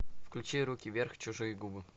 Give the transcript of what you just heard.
включи руки вверх чужие губы